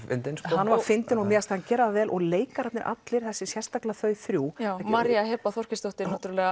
hann var fyndinn og mér fannst hann gera það vel og leikararnir allir sérstaklega þau þrjú María Heba Þorkelsdóttir